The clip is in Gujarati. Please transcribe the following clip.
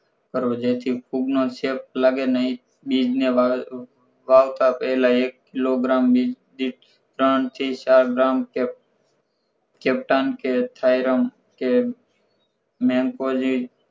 કરવો જેથી ફૂગ નો ચેપ લાગે નઇ બીજ ને વાવ વાવતા પહેલા એક કિલોગ્રામની દીઠ ત્રણ થી ચાર ગ્રામ septum કે theorem કે memopozy